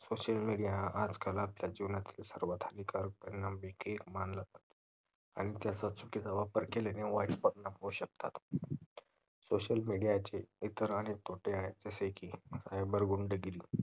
social media हा आजकाल आपल्या जीवनात सर्वात हानिकारक परिणाम देखील मानला जातो ह्याचा चुकीचा वापर केल्याने वाइट परिणाम होऊ शकतात social media चे इतर आनेक तोटे आहेत जसे की cyber गुंड गिरी